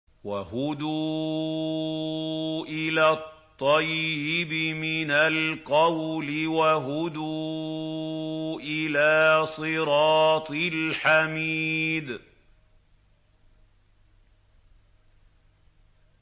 وَهُدُوا إِلَى الطَّيِّبِ مِنَ الْقَوْلِ وَهُدُوا إِلَىٰ صِرَاطِ الْحَمِيدِ